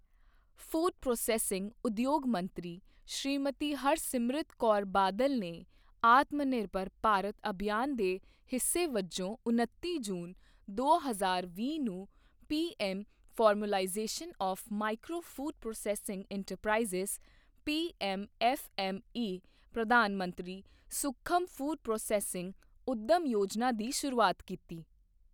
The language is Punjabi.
ਫ਼ੂਡ ਪ੍ਰੋਸੈੱਸਿੰਗ ਉਦਯੋਗ ਮੰਤਰੀ ਸ਼੍ਰੀਮਤੀ ਹਰਸਿਮਰਤ ਕੌਰ ਬਾਦਲ ਨੇ ਆਤਮਨਿਰਭਰ ਭਾਰਤ ਅਭਿਯਾਨ ਦੇ ਹਿੱਸੇ ਵੱਜੋਂ ਉਨੱਤੀ ਜੂਨ, ਦੋ ਹਜ਼ਾਰ ਵੀਹ ਨੂੰ PM formalisation of micro food processing enterprises PM FME ਪ੍ਰਧਾਨ ਮੰਤਰੀ ਸੂਖਮ ਫ਼ੂਡ ਪ੍ਰੋਸੈੱਸਿੰਗ ਉੱਦਮ ਯੋਜਨਾ ਦੀ ਸ਼ੁਰੂਆਤ ਕੀਤੀ।